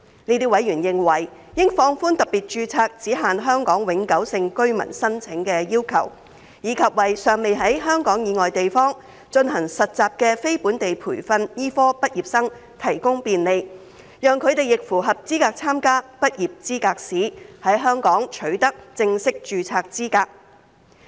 這些委員認為，應放寬特別註冊只限香港永久性居民申請的要求，以及為尚未在香港以外地方進行實習的非本地培訓醫科畢業生提供便利，讓他們亦符合資格參加執業資格試，在香港取得正式註冊資格。